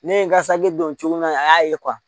Ne ye n ka saki dɔn cogo min na a y'a ye